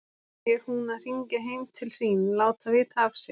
Er hún að hringja heim til sín, láta vita af sér?